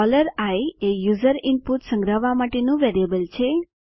i એ user input સંગ્રહવા માટેનું વેરિયેબલ છે